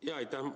Jaa, aitäh!